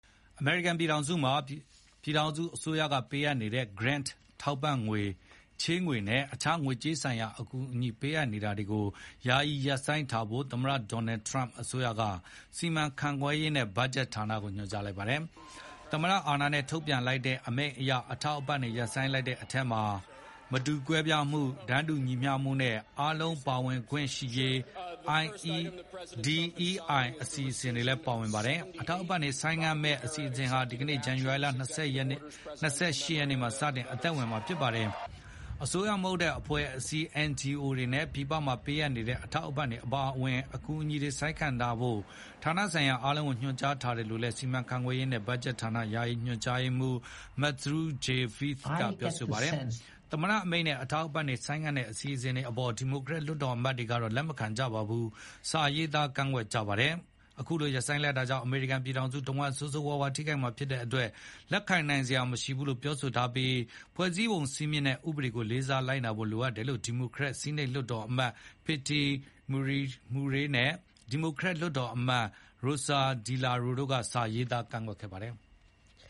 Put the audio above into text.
အမေရိကန်ပြည်ထောင်စုမှာ ပြည်ထောင်စုအစိုးရက ပေးအပ်နေတဲ့ Grant ထောက်ပံ့ငွေ၊ ချေးငွေနဲ့ အခြား ငွေကြေးဆိုင်ရာ အကူအညီပေးအပ်နေတာတွေကို ယာယီရပ်ဆိုင်းထားဖို့ သမ္မတ Donald Trump အစိုးရက စီမံခန့်ခွဲရေးနဲ့ ဘတ်ဂျက်ဌာနကို ညွှန်ကြားလိုက်ပါတယ်။ သမ္မတအာဏာနဲ့ ထုတ်ပြန်လိုက်တဲ့အမိန့်အရ အထောက်အပံ့တွေ ရပ်ဆိုင်းလိုက်တဲ့အထဲမှာ မတူကွဲပြားမှု၊ တန်းတူညီမျှမှုနဲ့ အားလုံးပါဝင်ခွင့်ရှိရေး DEI အစီအစဉ်တွေလည်းပါဝင်ပါတယ်။ အထောက်အပံ့တွေ ဆိုင်းငံ့မယ့်အစီအစဉ်ဟာ ဒီကနေ့ ဇန္နဝါရီလ ၂၈ ရက်နေ့မှာစတင်အသက်ဝင်မှာပါ။ အစိုးရမဟုတ်တဲ့ အဖွဲ့အစည်း NGOs တွေနဲ့ ပြည်ပမှာပေးအပ်နေတဲ့ အထောက်အပံ့တွေအပါအဝင် အကူအညီတွေ ဆိုင်းငံ့ထားဖို့ ဌာနဆိုင်ရာ အားလုံးကိုညွှန်ကြားထားတယ်လို့လည်း စီမံခန့်ခွဲရေးနဲ့ ဘတ်ဂျက်ဌာန ယာယီညွန်ကြားရေးမှူး Matthew J Vaeth ကပြောပါတယ်။ သမ္မတအမိန့်နဲ့ အထောက်အပံ့တွေ ဆိုင်းငံ့တဲ့အစီအစဉ်အပေါ် ဒီမိုကရက်လွှတ်တော်အမတ်တွေ ကတော့ လက်မခံကြဘဲ စာရေးသား ကန့်ကွက်ကြပါတယ်။ အခုလိုရပ်ဆိုင်းလိုက်တာကြောင့် အမေရိကန်ပြည်ထောင်စုတဝှမ်း ဆိုးဆိုးဝါးဝါးထိခိုက်မှာဖြစ်တဲ့အတွက် လက်ခံနိုင်စရာမရှိဘူးလို့ ပြောထားပြီး ဖွဲ့စည်းပုံစည်းမျဉ်းနဲ့ ဥပေဒတွေကိုလေးစားလိုက်နာဖို့လိုတယ်လို့ ဒီမိုကရက်ဆီးနိတ် လွှတ်တော်အမတ် Patty Murray နဲ့ ဒီမိုကရက်အောက်လွှတ်တော်မတ် Rosa DeLauro တို့က စာရေးသားကန့်ကွက်ခဲ့ပါတယ်။